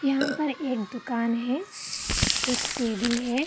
यहाँ पर एक दुकान है एक टेबल है।